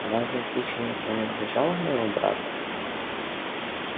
разве кичи не принадлежала моему брату